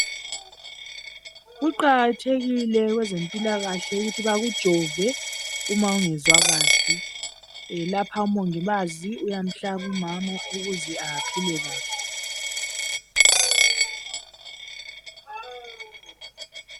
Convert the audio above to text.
Kuqakathekile kwezempilakahle ukuthi bakujove uma ungezwa kahle. Lapha umongikazi uyamhlaba umama ukuze aphile kahle.